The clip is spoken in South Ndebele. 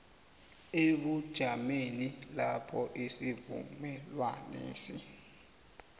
emajameni lapho isivumelwanesi